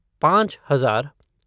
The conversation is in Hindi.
पाँच हजार